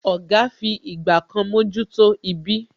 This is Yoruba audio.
Oga fi ìgbà kan mojuto ibí